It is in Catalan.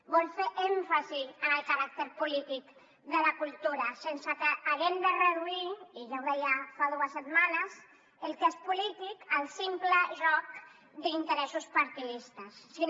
vol fer èmfasi en el caràcter polític de la cultura sense que haguem de reduir i ja ho deia fa dues setmanes el que és polític al simple joc d’interessos partidistes sinó